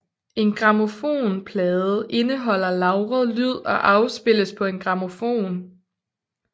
En grammofonplade indeholder lagret lyd og afspilles på en grammofon